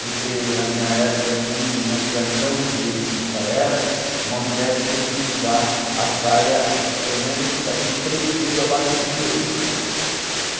Porque na minha época, assim, na criação, do jeito que o meu pai era, uma mulher tinha que usar a saia, pelo menos, assim, três dedos abaixo do joelho, né?